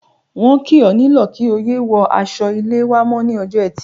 Wọ́n ti kì ọ́ nílọ̀ kí o yé wọ aṣọ-ilé wá mọ́ ní ọjọ́ Ẹtì.